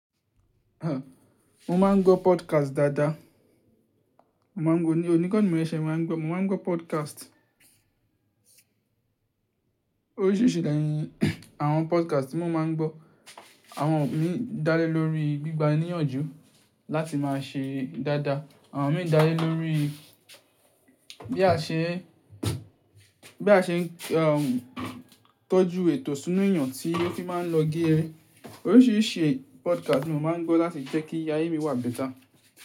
Mo máa ń gbọ́ podcast dáadáa. Mo máa ń gbọ́ ní, onígbọ̀nni mo ṣẹ́ máa ń gbọ́, mo máa ń gbọ́ podcast. Oríṣìíríṣìí de ni àwọn podcast tí mo máa ń gbọ́, àwọn mí dá lé lórí gbígba níyànjú láti máa ṣe dáadáa. Àwọn mí dá lé lórí bí a ṣe, bí a ṣe tọ́jú ètò sínú èyàn tí ó fi máa ń lọ gére ẹrín. Oríṣìíríṣìí podcast mo máa ń gbọ́ láti jẹ́ kí ayé mi wà better.